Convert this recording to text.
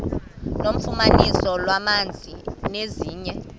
nofumaniso lwamanzi nezinye